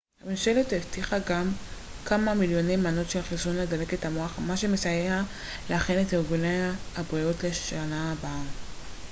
הממשלה הבטיחה גם כמה מיליוני מנות של חיסון לדלקת המוח מה שיסייע להכין את ארגוני הבריאות לשנה הבאה